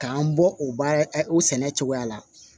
K'an bɔ o baara o sɛnɛ cogoya la